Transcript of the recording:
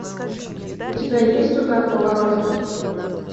у тебя есть удар по воротам